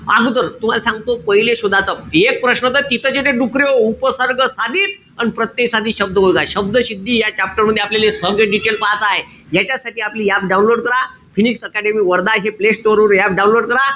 अगोदर तुम्हाले सांगतो. पहिले शोधाचं. ऐक प्रश्न त तिथेच येत डुकऱ्याहो. उपसर्ग साधित अन प्रत्यय साधित शब्द बघा. शब्दसिद्धी या chapter मध्ये आपल्याले सर्व detail पहायचं आय. याच्यासाठी आपली app download करा. फिनिक्स अकॅडमि वर्धा हे play store वरून app download करा.